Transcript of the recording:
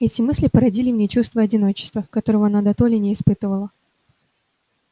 эти мысли породили в ней чувство одиночества которого она дотоле не испытывала